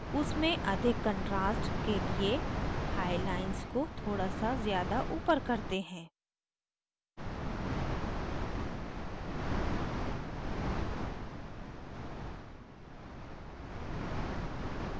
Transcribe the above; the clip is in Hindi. उसमें अधिक contrast के लिए high lines को थोड़ा सा ज़्यादा ऊपर करते हैं